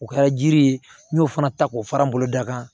O kɛra jiri ye n y'o fana ta k'o fara n boloda kan